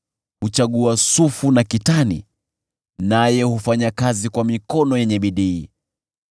Huchagua sufu na kitani naye hufanya kazi kwa mikono yenye bidii.